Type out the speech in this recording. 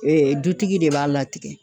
Ee dutigi de b'a latigɛ.